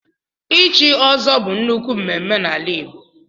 ichi ọ́zọ́ bu nnukwu mmemmé n'ala igbo